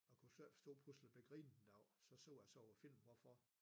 Og kunne så ikke forstå jeg pludslig blev grinet af så så jeg så på filmen hvorfor